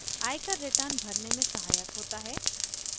आयकर returns भरने में सहायक होता है